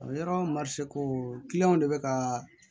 Yɔrɔ marise ko kiliyanw de bɛ ka